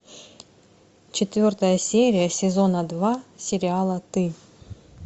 четвертая серия сезона два сериала ты